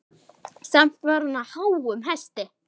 Samt var hún á háum hesti.